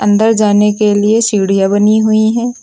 अंदर जाने के लिए सीढ़ियां बनी हुई हैं।